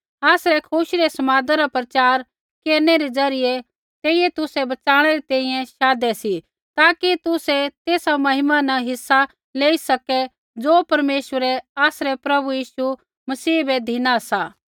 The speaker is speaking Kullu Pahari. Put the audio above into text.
आसरै खुशी रै समादा रा प्रचार केरनै रै ज़रियै तेइयै तुसै बच़ाणै री तैंईंयैं शाधै सी ताकि तुसै तेसा महिमा न हिस्सा लेई सकै ज़ो परमेश्वरै आसरै प्रभु यीशु मसीह बै धिना सा